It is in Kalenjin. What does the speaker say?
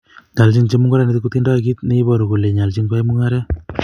Nyoljin chemungarandet kitindoi kit ne iboru kole nyoljin koyai mungaret